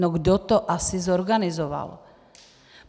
No kdo to asi zorganizoval?